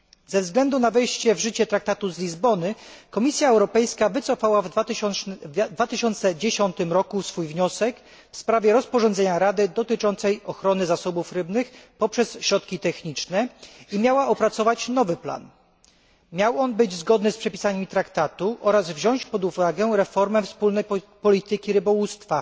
Ze względu na wejście w życie Traktatu z Lizbony Komisja Europejska wycofała w 2010 roku wniosek w sprawie rozporządzenia Rady dotyczącego ochrony zasobów rybnych poprzez środki techniczne i miała opracować nowy plan. Nowy plan miał być zgodny z przepisami Traktatu oraz uwzględniać reformę wspólnej polityki rybołówstwa.